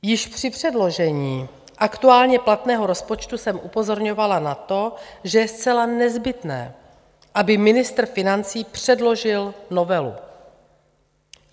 Již při předložení aktuálně platného rozpočtu jsem upozorňovala na to, že je zcela nezbytné, aby ministr financí předložil novelu.